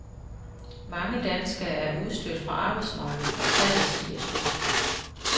Mange danskere er udstødt fra arbejdsmarkedet, og tallet stiger støt.